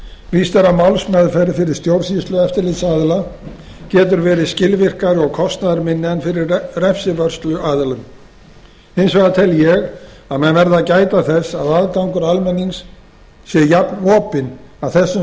víst er að málsmeðferð fyrir stjórnsýslueftirlitsaðila getur verið skilvirkari og kostnaðarminni en fyrir refsivörsluaðila hins vegar tel ég að menn verði að gæta þess að aðgangur almennings sé jafnopinn að þessum